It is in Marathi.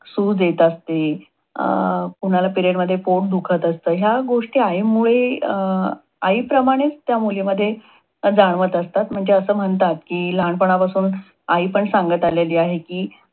सूज येत असते. अं कुणाला period मध्ये पोट दुखत असत. ह्या गोष्टी आईमुळे आईप्रमाणेच त्या मुलीमध्ये जाणवत असतात. म्हणजे अस म्हणतात कि लहानपणापासून आईपण सांगत आलेली आहे की